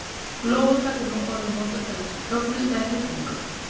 Lófatak er nú orðið notað til að tjá fögnuð eða hrifningu.